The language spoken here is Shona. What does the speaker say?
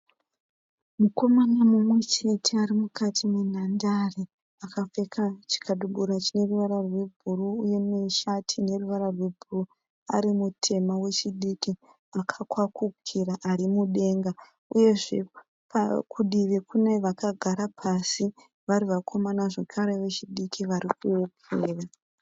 Mukomana mumwe chete ari mukati menhandare akapfeka chikabudura cheruvara rwebhuruu uye neshati ine ruvara rwebhuruu ari mutema wechidiki akakwakukira ari mudenga uyezve kudivi kune vakagara pasi vari vakomana zvakare vechidiki varikuwokera.